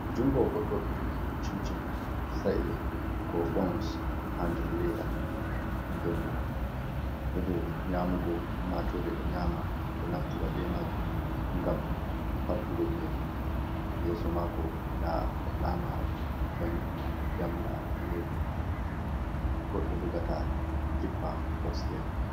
Jungo goɗɗo ɗo jogi cin cin sa’e, ko bons, ha nder leda den bo hunde nyamugo ummatore ɗo nyama, ɗo naftira be majun ngam fartugo belo, yeso mako nda lama jamdi jamga danejum ɗun goɗɗo jogata jippa upstair.